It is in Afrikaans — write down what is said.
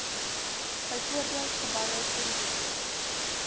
byvoorbeeld geboue toerusting